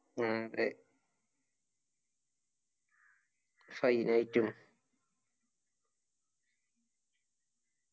ഉം അതെ fine ആയിറ്റും